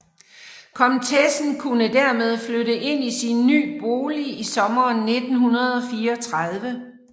Komtessen kunne dermed flytte ind i sin ny bolig i sommeren 1934